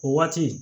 O waati